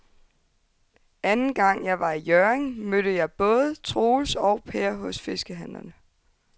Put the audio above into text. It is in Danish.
Anden gang jeg var i Hjørring, mødte jeg både Troels og Per hos fiskehandlerne.